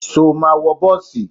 Ṣo ma wọ bọ́ọ̀sì?